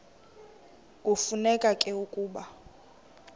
kufuneka ke ukuba